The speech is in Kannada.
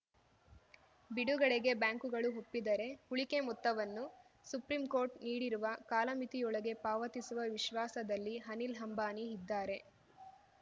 ಬಿಡುಗಡೆಗೆ ಬ್ಯಾಂಕುಗಳು ಒಪ್ಪಿದರೆ ಉಳಿಕೆ ಮೊತ್ತವನ್ನು ಸುಪ್ರೀಂಕೋರ್ಟ್‌ ನೀಡಿರುವ ಕಾಲಮಿತಿಯೊಳಗೆ ಪಾವತಿಸುವ ವಿಶ್ವಾಸದಲ್ಲಿ ಅನಿಲ್‌ ಅಂಬಾನಿ ಇದ್ದಾರೆ